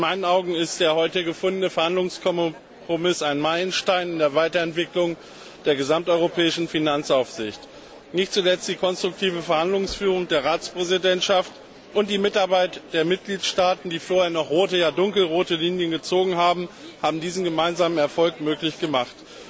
In meinen Augen ist der heute gefundene Verhandlungskompromiss ein Meilenstein in der Weiterentwicklung der gesamteuropäischen Finanzaufsicht. Nicht zuletzt die konstruktive Verhandlungsführung der Ratspräsidentschaft und die Mitarbeit der Mitgliedstaaten, die vorher noch rote, ja dunkelrote Linien gezogen haben, haben diesen gemeinsamen Erfolg möglich gemacht.